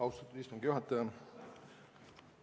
Austatud istungi juhataja!